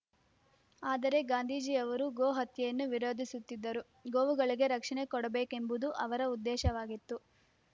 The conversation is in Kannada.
ಆದರೆ ಗಾಂಧೀಜಿಯವರು ಗೋಹತ್ಯೆಯನ್ನು ವಿರೋಧಿಸುತ್ತಿದ್ದರು ಗೋವುಗಳಿಗೆ ರಕ್ಷಣೆ ಕೊಡಬೇಕೆಂಬುದು ಅವರ ಉದ್ದೇಶವಾಗಿತ್ತು